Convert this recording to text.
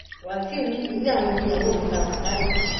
wàṣíù ní ilé àwọn ẹbí ìyàwó mi la wà báyìí